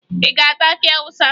Ị ga-ata akị Awụsa?